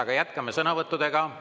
Aga jätkame sõnavõttudega.